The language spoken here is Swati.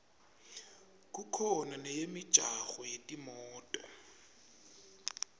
kukhona neyemijaho yetimoto